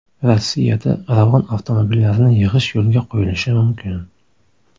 Rossiyada Ravon avtomobillarini yig‘ish yo‘lga qo‘yilishi mumkin.